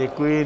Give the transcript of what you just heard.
Děkuji.